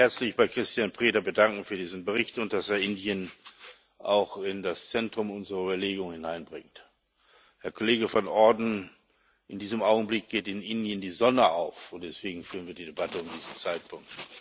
Ich möchte mich herzlich bei Cristian Preda bedanken für diesen Bericht und dass er Indien auch in das Zentrum unserer Überlegungen einbringt. Herr Kollege van Orden, in diesem Augenblick geht in Indien die Sonne auf, und deswegen führen wir diese Debatte zu diesem Zeitpunkt.